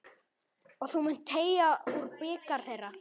Og þú munt teyga úr bikar þeirra.